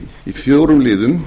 í fjórum liðum